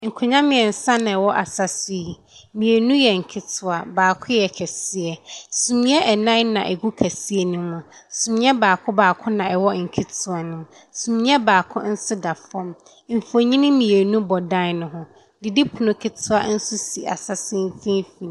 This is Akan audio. Nkonnwa mmeɛnsa na ɛwɔ asa so yi. Mmienu yɛ nketewa, baako yɛ kɛseɛ. Sumiiɛ nnan na ɛgu kɛseɛ no mu. Sumiiɛ baako baako na ɛwɔ nketewa no mu. Sumiiɛ baako nso da fam. Mfonini mmienu bɔ dan no ho. Didipono ketewa nso si asa so mfimfini.